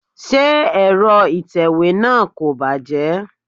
Ṣé Ẹ̀rọ itewe náà kò bàjẹ́?